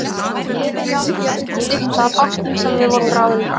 Auðvitað var byrjað á því að dytta að bátnum sem við vorum ráðnir á.